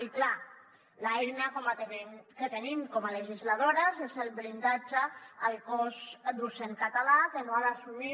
i clar l’eina que tenim com a legisladores és el blindatge del cos docent català que no ha d’assumir